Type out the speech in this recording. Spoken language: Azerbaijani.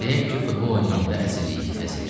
Deyək ki, futbol oynayanda əzirik, əzilirik.